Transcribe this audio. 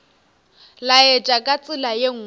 laetša ka tsela ye nngwe